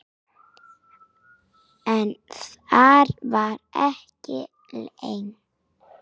En þar var ekki lengi.